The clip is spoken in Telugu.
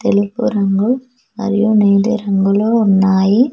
తెలుపు రంగు మరియు నీలి రంగులో ఉన్నాయి.